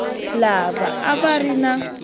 lava a va ri na